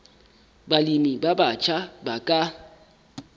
balemi ba batjha ba ka